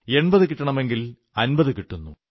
80 കിട്ടണമെങ്കിൽ 50 കിട്ടുന്നു